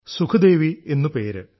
സുഖ്ദേവി എന്നു പേര്